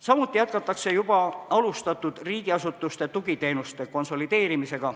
Samuti jätkatakse juba alustatud riigiasutuste tugiteenuste konsolideerimist.